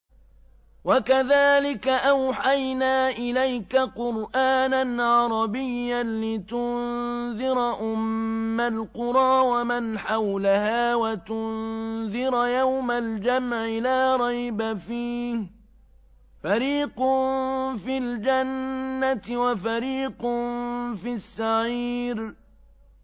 وَكَذَٰلِكَ أَوْحَيْنَا إِلَيْكَ قُرْآنًا عَرَبِيًّا لِّتُنذِرَ أُمَّ الْقُرَىٰ وَمَنْ حَوْلَهَا وَتُنذِرَ يَوْمَ الْجَمْعِ لَا رَيْبَ فِيهِ ۚ فَرِيقٌ فِي الْجَنَّةِ وَفَرِيقٌ فِي السَّعِيرِ